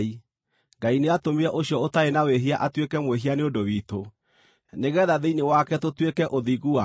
Ngai nĩatũmire ũcio ũtaarĩ na wĩhia atuĩke mwĩhia nĩ ũndũ witũ, nĩgeetha thĩinĩ wake tũtuĩke ũthingu wa Ngai.